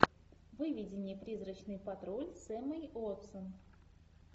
выведи мне призрачный патруль с эммой уотсон